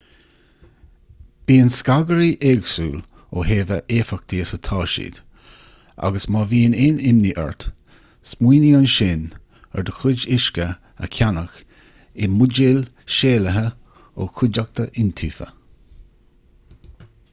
bíonn scagairí éagsúil ó thaobh a éifeachtaí is atá siad agus má bhíonn aon imní ort smaoinigh ansin ar do chuid uisce a cheannach i mbuidéal séalaithe ó chuideachta iontaofa